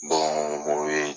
o